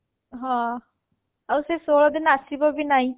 ହଁ ଆଉ ସେ ଷୋଳଦିନ ଆସିବ ବି ନାହି